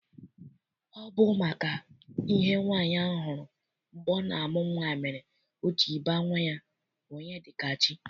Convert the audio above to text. Ọ bụ maka ihe nwaanyị ahụ hụrụ mgbe ọ na-amụ nwa mere o ji baa nwa ya Onyedikachi.